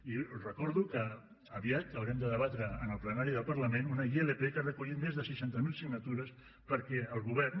i recordo que aviat haurem de debatre en el plenari del parlament una ilp que ha recollit més de seixanta mil signatures perquè el govern